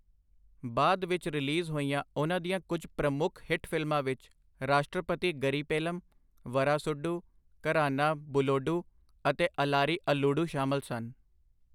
ਬਾਅਦ ਵਿੱਚ ਰਿਲੀਜ਼ ਹੋਈਆਂ ਉਨ੍ਹਾਂ ਦੀਆਂ ਕੁੱਝ ਪ੍ਰਮੁੱਖ ਹਿੱਟ ਫ਼ਿਲਮਾਂ ਵਿੱਚ ਰਾਸ਼ਟਰਪਤੀ ਗਰੀ ਪੇਲਮ, ਵਰਾਸੁਡੂ, ਘਰਾਨਾ ਬੁਲੋਡੂ ਅਤੇ ਅਲਾਰੀ ਅੱਲੂਡੂ ਸ਼ਾਮਲ ਸਨ।